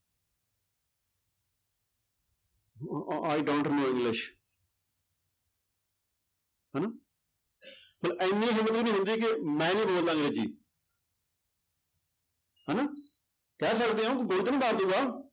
uh I don't know english ਹਨਾ ਇੰਨੀ ਹਿੰਮਤ ਵੀ ਨੀ ਹੁੰਦੀ ਕਿ ਮੈਂ ਨੀ ਬੋਲਦਾ ਅੰਗਰੇਜ਼ੀ ਹਨਾ, ਕਹਿ ਸਕਦੇ ਹਾਂ ਮਾਰ ਦਊਗਾ,